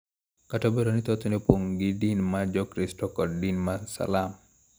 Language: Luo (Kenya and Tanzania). Kata obedo ni thothne opong� gi din ma Jokristo kod din ma Salam.